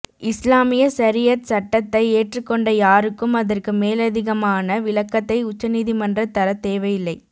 இஸ்லாமிய சரீஅத் சட்டத்தை ஏற்றுக் கொண்ட யாருக்கும் அத்ற்கு மேலதிகமான விளக்கத்தை உச்ச நீதிமன்ற தரத் தேவையில்லை